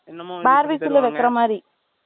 என்னமோ BarbQ ல வைக்கிற மாதிரி